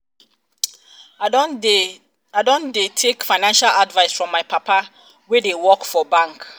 i don dey take financial advice from my papa wey dey work for bank.